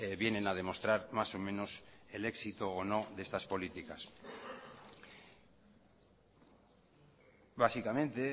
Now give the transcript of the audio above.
vienen a demostrar más o menos el éxito o no de estas políticas básicamente